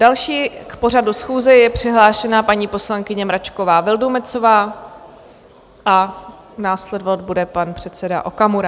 Další k pořadu schůze je přihlášena paní poslankyně Mračková Vildumetzová a následovat bude pan předseda Okamura.